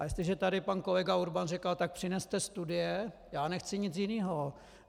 A jestliže tady pan kolega Urban říkal: tak přineste studie - já nechci nic jiného.